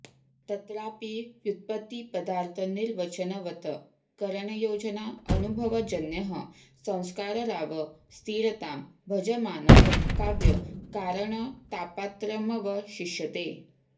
तत्रापि व्युत्पत्तिपदार्थनिर्वचनवत् करणयोजना अनुभवजन्यः संस्कार राव स्थिरतां भजमानः काव्यकारणतापात्रमवशिष्यते